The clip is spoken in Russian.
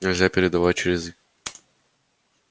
нельзя передавать через